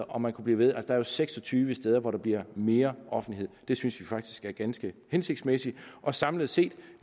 og man kunne blive ved der er seks og tyve steder hvor der bliver mere offentlighed det synes vi faktisk er ganske hensigtsmæssigt samlet set